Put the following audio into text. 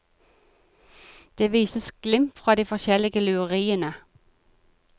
Det vises glimt fra de forskjellige lureriene.